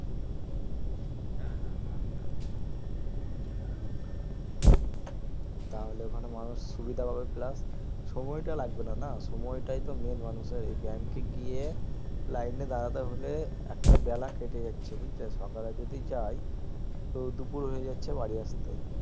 তাহলে ওখানে মানুষ সুবিধা পাবে plus সময় তা লাগবেনা না সময়টা তা main মানুষের এই bank এ গিয়ে line এ দাঁড়াতে হলে একটা বেলা কেটে যাচ্ছে বুজলে সকালে যদি যাই তো দুপুর হয়ে যাচ্ছে বাড়ি আসতে